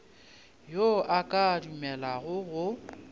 yo a ka dumelago go